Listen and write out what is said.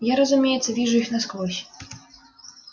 я разумеется вижу их насквозь